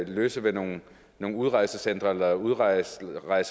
løse med nogle nogle udrejsecentre eller udrejselejre